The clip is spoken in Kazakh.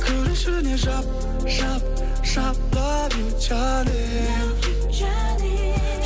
кір ішіне жап жап жап лав ю жаным лав ю жаным